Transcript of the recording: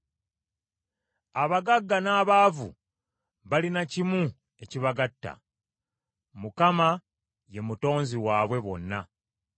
Abagagga n’abaavu balina kimu ekibagatta, Mukama ye Mutonzi waabwe bonna.